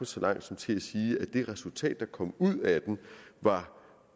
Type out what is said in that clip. så langt som til at sige at det resultat der kom ud af den